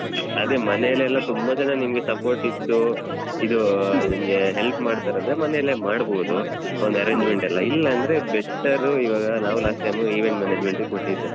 ಅದೇ ಮನೆಲೆಲ್ಲ ತುಂಬಾ ಜನ ನಿಂಗೆ support ಇದ್ದು, ಇದೂ ನಿಮ್ಗೆ help ಮಾಡ್ತಾರಂದ್ರೆ ಮನೆಯಲ್ಲೇ ಮಾಡ್ಬೋದು ಒಂದ್ arrangement ಎಲ್ಲ ಇಲ್ಲ ಅಂದ್ರೆ better ಇವಾಗ ನಾವು last time event management ಗೆ ಕೊಟ್ಟಿದ್ದು.